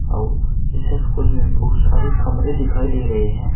अउर इस स्कूल में बहुत सारे कमरे दिखाई दे रहे हैं।